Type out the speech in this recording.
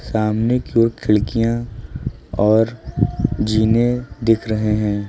सामने की और खिड़कियां और जीने दिख रहे हैं।